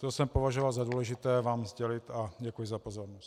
To jsem považoval za důležité vám sdělit a děkuji za pozornost.